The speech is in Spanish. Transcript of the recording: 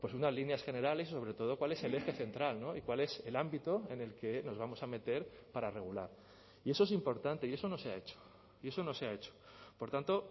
unas líneas generales sobre todo cuál es el eje central y cuál es el ámbito en el que nos vamos a meter para regular y eso es importante y eso no se ha hecho y eso no se ha hecho por tanto